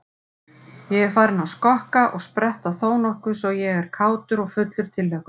Ég er farinn að skokka og spretta þónokkuð svo ég er kátur og fullur tilhlökkunar.